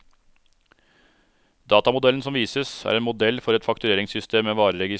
Datamodellen som vises, er en modell for et faktureringssystem med vareregister.